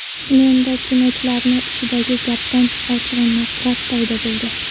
Menda, kinochilarni ichidagi gapdan, ochig‘i nafrat paydo bo‘ldi.